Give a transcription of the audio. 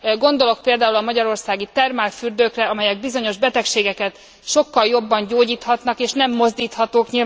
Gondolok például a magyarországi termálfürdőkre, amelyek bizonyos betegségeket sokkal jobban gyógyíthatnak és nem mozdíthatók.